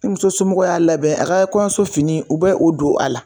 Ni muso somɔw y'a labɛn a ga kɔɲɔnsofini u bɛ o don a la